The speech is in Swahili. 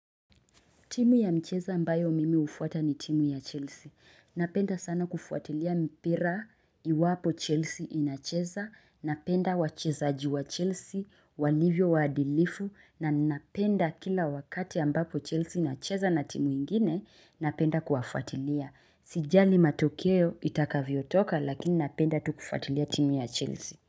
Timu ya mchezo ambayo mimi hufuata ni Chelsea napenda sana kufuatilia mpira iwapo Chelsea inacheza napenda wachezaji wa Chelsea, walivyo waadilifu na napenda kila wakati ambapo Chelsea inacheza na timu ingine napenda kuwafuatilia. Sijali matokeo itakavyo toka lakini napenda tu kufuatilia timu ya Chelsea.